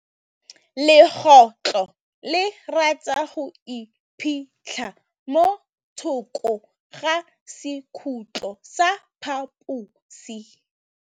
Legôtlô le rata go iphitlha mo thokô ga sekhutlo sa phaposi.